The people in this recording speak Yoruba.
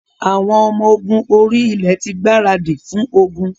Àwọn ọmọ ogun orí-ilẹ̀ ti gbaradì fún ogun.